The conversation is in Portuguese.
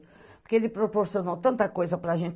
Porque ele proporcionou tanta coisa para a gente.